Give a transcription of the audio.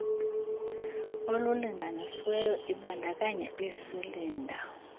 olulinganisiweyo ibandakanya iisilinda